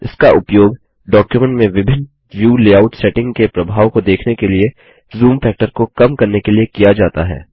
इसका उपयोग डॉक्युमेंट में विभिन्न व्यू लेआउट सेटिंग के प्रभाव को देखने के लिए जूम फैक्टर को कम करने के लिए किया जाता है